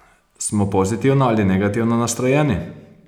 Smo pozitivno ali negativno nastrojeni?